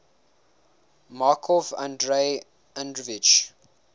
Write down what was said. markov andrei andreevich